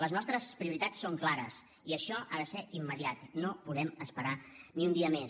les nostres prioritats són clares i això ha de ser immediat no podem esperar ni un dia més